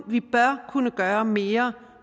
gøre mere